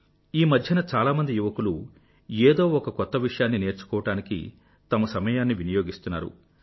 ఈమధ్యన చాలా మంది యువకులు ఏదో ఒక కొత్త విషయాన్ని నేర్చుకోవడానికి తమ సమయాన్ని వినియోగిస్తున్నారు